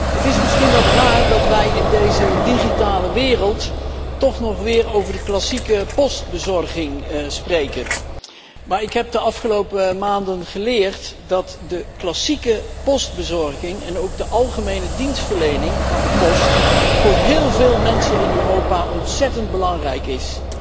Het is misschien wat raar dat wij in deze digitale wereld toch nog weer over de klassieke postbezorging spreken, maar ik heb de afgelopen maanden geleerd dat de klassieke postbezorging en ook de algemene dienstverlening van De Post voor heel veel mensen in Europa ontzettend belangrijk is.